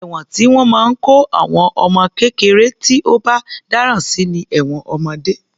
Ẹ̀wọ̀n tí wọ́n máa ń kó àwọn ọmọ kékeré tí ó bá dáràn sí ni ẹ̀wọ̀n ọmọdé.